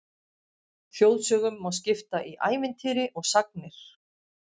Þjóðsögum má skipta í ævintýri og sagnir.